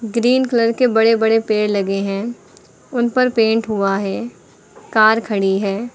Green colour के बड़े बड़े पेड़ लगे हैं। उन पर पेंट हुआ है। कार खड़ी है।